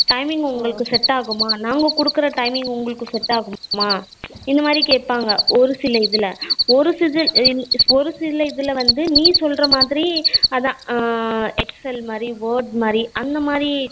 Timing உங்களுக்கு set ஆகுமா நாங்க குடுக்குற timing உங்களுக்கு set ஆகுமா இந்த மாதிரி கேப்பாங்க ஒரு சில இதுல ஒரு சில இதுல நே சொல்லுற மாதிரி அதான் excel மாதிரி word மாதிரி அந்த மாறி